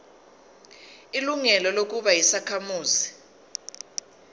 ilungelo lokuba yisakhamuzi